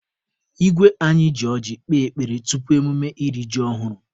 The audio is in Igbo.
Igwe anyị ji ọjị kpee ekpere tupu emume iri ji ọhụrụ.